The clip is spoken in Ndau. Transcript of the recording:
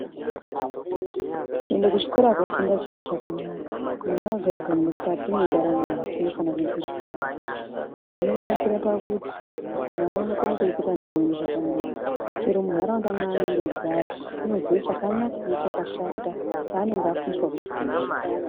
Kuende kuchikora koofunda chiro chakanaka mwana wega wega mukati mwendaramo yake unofana kuenda kuchikora zvinonakire pakuti mwana unokone kurrketa neamweni zvakanaka chero muntharaunda mwaanenge eigara unoziye chakanaka nechakashata chaanenge afundiswa kuchikora.